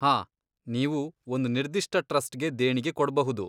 ಹಾಂ, ನೀವು ಒಂದ್ ನಿರ್ದಿಷ್ಟ ಟ್ರಸ್ಟ್ಗೆ ದೇಣಿಗೆ ಕೊಡ್ಬಹುದು.